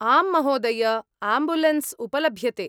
आम् महोदय, आम्बुलेन्स् उपलभ्यते।